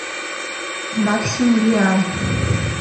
максимилиан